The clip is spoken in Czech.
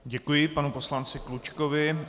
Děkuji panu poslanci Klučkovi.